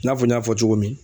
I n'a fɔ, n y'a fɔ cogo min